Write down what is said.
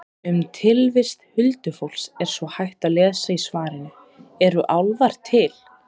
Um tilvist huldufólks er svo hægt að lesa í svarinu Eru álfar til?